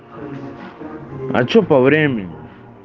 а что по времени